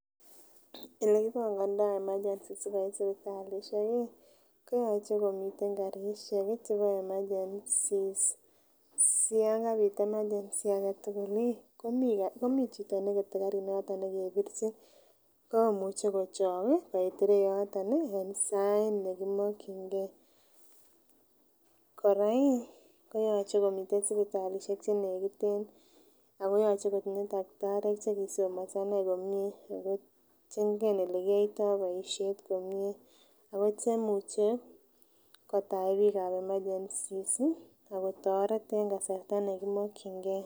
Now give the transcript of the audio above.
Elekibongondoo emergency sikoit sipitalisiek ko yoche komiten karisiek chebo emergencies si yan kabit emergency aketugul ih komii chito nekete karinoton nekebirchin komuche kochok ih koit ireyoton ih en sait nekimokyingee, kora ih koyoche komiten sipitalisiek che nekiten ako yoche kotinye takitariek chekisomonso inei komie ako chengen elekiyoitoo boisiet komie ako chemuche kotach biik ab emergencies ih ak kotoret en kasarta nekimokyingee